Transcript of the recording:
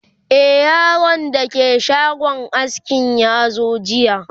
e Yaron da ke shagon askin yazo jiya